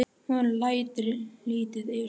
Hún lætur lítið yfir sér.